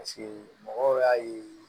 Paseke mɔgɔw y'a ye